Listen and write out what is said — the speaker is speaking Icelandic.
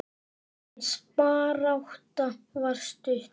Hans barátta var stutt.